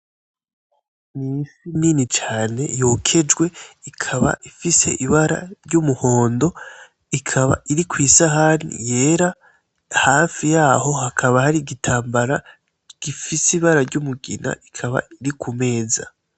Ifi nini cane yokejwe. Ikaba ifise ibara ry'umuhondo. Ikaba iri kw'isahani yera, hafi yaho hakaba hari igitambara gifise ibara ry'umugina. Ikaba iri ku meza.